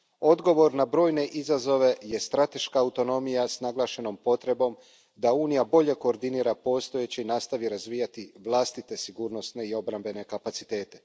Odgovor na brojne izazove je strateška autonomija s naglašenom potrebom da Unija bolje koordinira postojeće i nastavi razvijati vlastite sigurnosne i obrambene kapacitete.